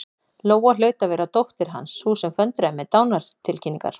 Lóa hlaut að vera dóttir Hans, sú sem föndraði með dánartilkynningar.